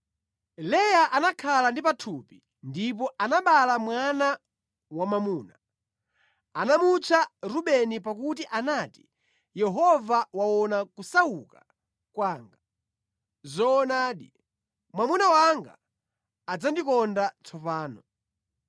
Leya anakhala ndi pathupi ndipo anabereka mwana wamwamuna. Anamutcha Rubeni pakuti anati, “Yehova waona kusauka kwanga. Zoonadi, mwamuna wanga adzandikonda tsopano.”